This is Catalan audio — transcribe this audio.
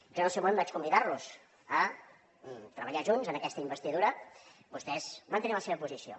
jo en el seu moment vaig convidar los a treballar junts en aquesta investidura vostès van tenir la seva posició